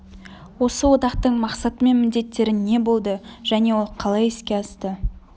осы одақтың мақсаты мен міндеттері не болды және ол қалай іске асты